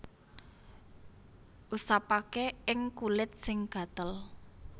Usapaké ing kulit sing gatel